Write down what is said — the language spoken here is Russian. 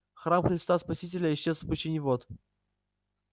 храм христа спасителя исчез в пучине вод